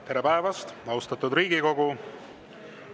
Tere päevast, austatud Riigikogu!